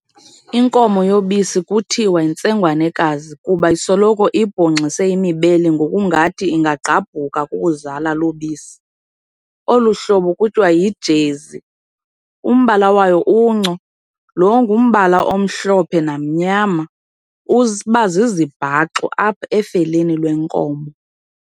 Inkomo yobisi kuthiwa yintsengwanekazi kuba isoloko ibhongxise imibele ngokungathi ingagqabhuka kukuzala lubisi, olu hlobo kuhiwa yiJezi. Umbala wayo unco, lo ngumbala omhlophe namnyama, uba zizibhaxu apha efeleni lwenkomo.